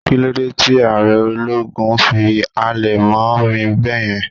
kilode Ti aare ologun fi halẹ̀ mọ mí beeyen